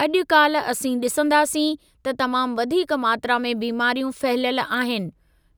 अॼु काल्ह असां ॾिसंदासीं त तमामु वधीक मात्रा में बीमारियूं फहिलियल आहिनि,